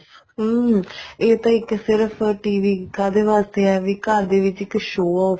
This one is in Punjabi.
ਅਮ ਇਹ ਤਾਂ ਇੱਕ ਸਿਰਫ TV ਕਾਹਦੇ ਵਾਸਤੇ ਆ ਵੀ ਘਰ ਦੇ ਵਿੱਚ ਇੱਕ show off